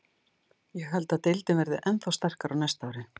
Ég held að deildin verði ennþá sterkari á næsta ári.